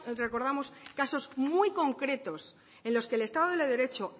recordamos casos muy concretos en los que el estado de derecho